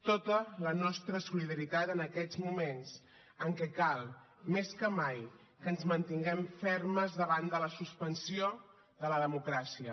tota la nostra solidaritat en aquests moments en què cal més que mai que ens mantinguem fermes davant de la suspensió de la democràcia